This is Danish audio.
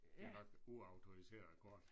Det er nok uautoriseret kort